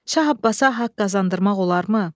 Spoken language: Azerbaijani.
Şah Abbasa haqq qazandırmaq olarmı?